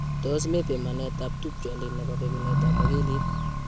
Tos mi pimanetab tupchondit nebo bekunetab akilit?